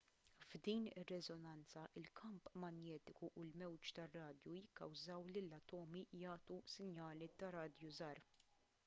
f'din ir-reżonanza il-kamp manjetiku u l-mewġ tar-radju jikkawżaw lill-atomi jagħtu sinjali tar-radju żgħar